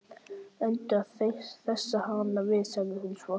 Reyndu að hressa hann við sagði hún svo.